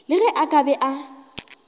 le ge a ka be